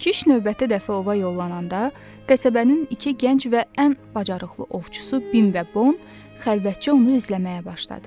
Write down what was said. Kiş növbəti dəfə ova yollananda qəsəbənin iki gənc və ən bacarıqlı ovçusu Bim və Bon xəlvətcə onu izləməyə başladı.